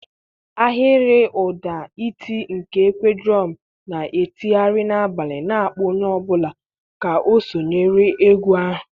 Ahiriuda iti nke Ekwe drum na-etigharị n'abalị, na-akpọ onye ọ bụla ka ọ sonyere egwu ahụ.